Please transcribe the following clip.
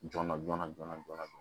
Joona joona joona joonana